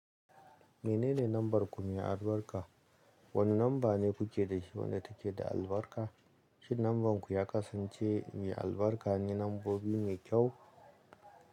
Menene lambar ku mai albarka? Wani numba ne kuke da shi wadda take da albarka? Shin nambar ku ya kasance mai albarka ne nambobi mai kyau?